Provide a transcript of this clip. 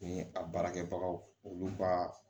Ni a baarakɛbagaw olu ka